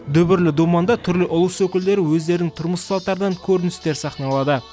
дүбірлі думанда түрлі ұлыс өкілдері өздерінің тұрмыс салттарынан көріністер сахналады